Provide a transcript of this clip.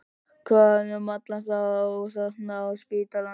Hvað um alla þá þarna á spítalanum?